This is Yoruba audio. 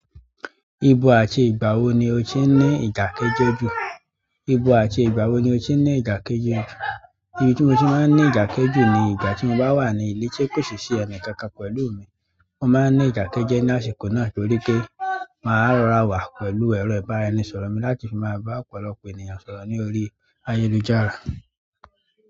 Ibo àti ìgbà wo ni o ti ni ìdákẹ́jẹ́ jù? Ibo àti ìgbà wo ni o ti ní ìdákẹ́jẹ́ jù? Ibi tí mo ti máa ń ní ìdákẹ́jẹ́ jù ni ìgbà tí mo bá wà nílé tí kò sì sí ẹnì kankan pẹ̀lú mi. Mo máa ńi ìdákẹ́jẹ́ ni àsìkò náà torí pé màá rọra wà pẹ̀lú ẹ̀rọ ìbánisọ̀rọ̀ mi láti fi máa bá ọ̀pọ̀lọpọ̀ ènìyàn sọ̀rọ̀ ni orí ayélujára.